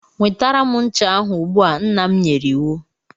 Nwetara m ncha ahụ ugbu a! Nna m nyere iwu.